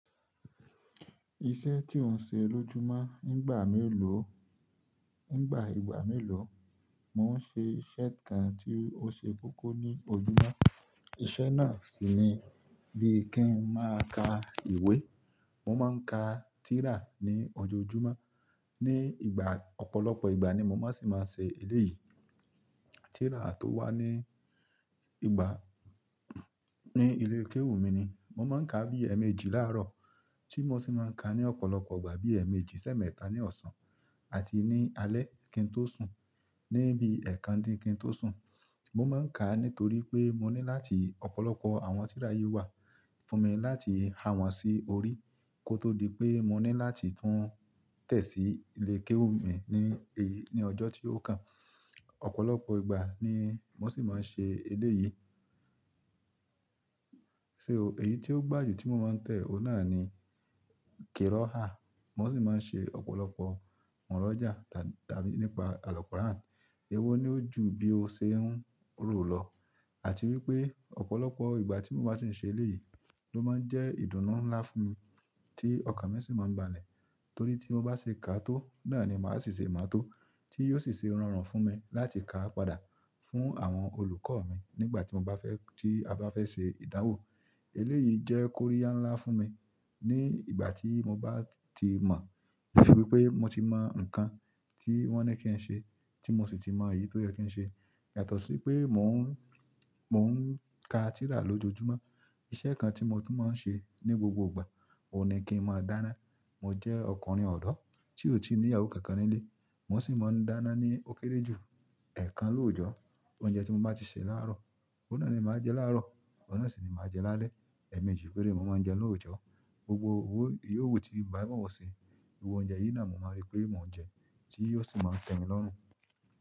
Iṣẹ́ tí n ṣe ló júmọ́ nígbà mélòó, nígbà ìgbà mélòó. Mo ń ṣe iṣẹ́ kan tí ó ṣe kókó ní ojúmọ́. Iṣẹ́ náà sì ni bí i kí n máa ka ìwé. Mo ma n ka tira ni ojoojúmọ́, ọ̀pọ̀lọpọ̀ ìgbà ni mo mọ si mọ n ṣe eléyìí tírà tó wà ní ìgbà ní ilé kéwú mi ni. Mo máa ń ka bí èèmejì láàárọ̀ tí mo sì máa ń ka ní ọ̀pọ̀lọpọ̀ ìgbà bí èèmejì sẹ́mẹ̀ta ní ọ̀sán àti ní alẹ́ kí n tó sùn níbi ẹ̀kan dín kí n tó sùn. Mo máa ń ka nítorí pé mo ní láti ọ̀pọ̀lọpọ̀ àwọn tírà yi wà fún mi láti ha wọn sí orí kó tó di pé mo ní láti tún tẹ̀ sí ilé kéwú mi ní èyí ní ọjọ́ tí ó kàn. Ọ̀pọ̀lọpọ̀ ìgbà ni mo sì máa ń ṣe eléyìí. O, èyí tí ó gbaye ti mo máa ń tẹ̀, ó náà ni kirọ́ha. Mo sì máa ń ṣe ọ̀pọ̀lọpọ̀ murọ̀já dá, dàbí nípa àlùkọ́rán. Ewó ni ó jù bí o ṣe ń rò lọ àti wípé ọ̀pọ̀lọpọ̀ ìgbà tí mo bá sì ń ṣe eléyìí ló máa ń jẹ́ ìdùnnú ńlá fún mi tí ọkàn mi sì máa ń balẹ̀ torí tí mo bá ṣe ká á tó náà ni màá sì ṣe máa tó tí yóò sì ṣe rọrùn fún mi láti ka á padà fún àwọn olùkọ́ mi nígbà tí mo bá fẹ́, tí a bá fẹ́ ṣe ìdánwò. Eléyìí jẹ́ kóríyá ńlá fún mi ní ìgbà tí mo bá ti mọ̀. Bí i wípé mo ti mọ nǹkan tí wón ní kí n ṣe tí mo sì ti mọ èyí tó yẹ kí n ṣe. Yàtọ̀ sí pé mò ń, mò ń ka tírà lójoojúmọ́. Iṣẹ́ kan tí mo tú máa ń ṣe ní gbogbo ìgbà, ó ní kí n máa dáná. Mo jẹ ọkùnrin ọdọ tí o ti ní ìyàwó kánkan nílé. Mo sì máa ń dáná ní ó kéré jù ẹ̀ẹ́kan lóòjọ́. Oúnjẹ tí mo bá ti sè láàárọ̀, óun náà ni màá jẹ láàárọ̀, oun náà sì ni màá jẹ lálẹ́. Èèmejì péré mo máa ń jẹ́un lóòjọ́. Gbogbo owó, irú owó tí bàbá mi wọ̀ sí, wòúnjẹ yìí ni àmo máa rí pé mò ń jẹun tí yóò sì máa tẹ́ mi lọ́run.